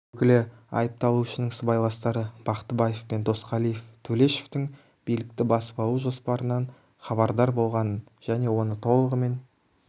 өкілі айыпталушының сыбайластары бақтыбаев пен досқалиев төлешовтің билікті басып алу жоспарынан хабардар болғанын және оны толығымен